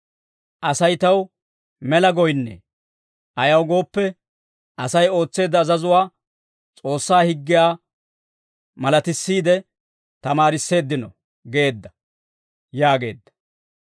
Asay taw mela goyinnee; ayaw gooppe, Asay ootseedda azazuwaa, S'oossaa higgiyaa malatissiide, tamaarisseeddino» geedda› » yaageedda.